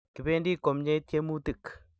Kibendi komnyei tyemutik